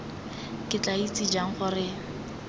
ke tla itse jang gore